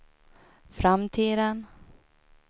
framtiden